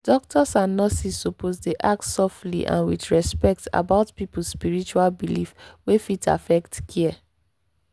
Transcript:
doctors and nurses suppose ask softly and with respect about people spiritual belief wey fit affect care.